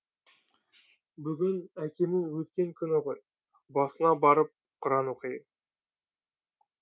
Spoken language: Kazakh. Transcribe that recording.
бүгін әкемнің өткен күні ғой басына барып құран оқиын